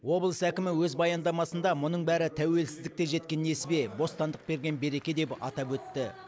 облыс әкімі өз баяндамасында мұның бәрі тәуелсіздікте жеткен несібе бостандық берген береке деп атап өтті